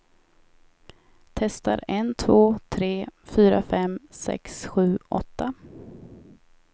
Testar en två tre fyra fem sex sju åtta.